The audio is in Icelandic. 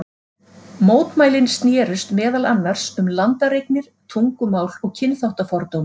Mótmælin snerust meðal annars um landareignir, tungumál og kynþáttafordóma.